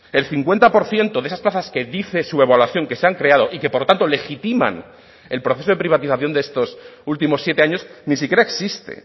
el cincuenta por ciento de esas plazas que dice su evaluación que se han creado y que por tanto legitiman el proceso de privatización de estos últimos siete años ni siquiera existe